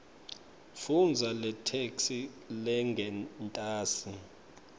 fundza letheksthi lengentasi